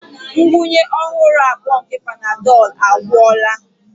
Ngwunye ọhụrụ abụọ nke Panadol agwụla.